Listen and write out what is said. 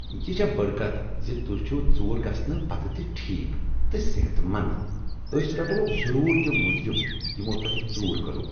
یہ چھےٚ بٔڑ کتھ ز تہۍ چھوٕ ژُور گژھنہٕ پتہٕ تہِ ٹھیٖک تہٕ صحت مند أسۍ رٹوکھ ضرور تم مجرم یمو تۄہہ ژۄٗر کٔرو ۔